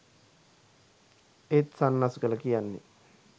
ඒත් සන්නස්ගල කියන්නේ